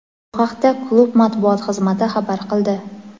Bu haqda klub matbuot xizmati xabar qildi.